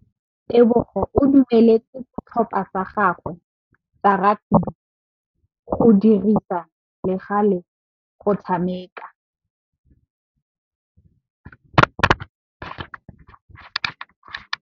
Tebogô o dumeletse setlhopha sa gagwe sa rakabi go dirisa le galê go tshameka.